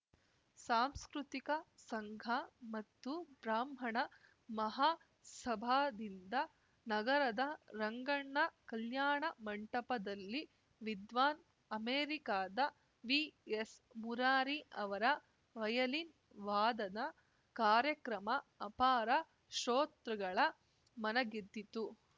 ಸಾಂಸ್ಕೃತಿಕ ಸಂಘ ಮತ್ತು ಬ್ರಾಹ್ಮಣ ಮಹಾಸಭಾದಿಂದ ನಗರದ ರಂಗಣ್ಣ ಕಲ್ಯಾಣ ಮಂಟಪದಲ್ಲಿ ವಿದ್ವಾನ್‌ ಅಮೆರಿಕಾದ ವಿಎಸ್‌ ಮುರಾರಿ ಅವರ ವಯಲಿನ್‌ ವಾದನ ಕಾರ್ಯಕ್ರಮ ಅಪಾರ ಶ್ರೋತೃಗಳ ಮನಗೆದ್ದಿತು